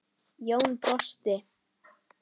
Jón brosti.